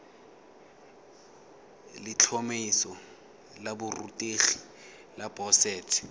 letlhomeso la borutegi la boset